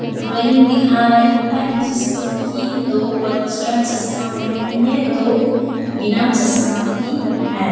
Drawing दिखा रही हैं जिसमें की दो बच्चियाँ चश्मा पहनी हैं दो बिना चश्मा की है।